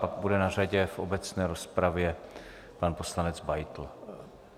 Pak bude na řadě v obecné rozpravě pan poslanec Beitl.